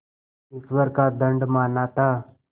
ईश्वर का दंड माना था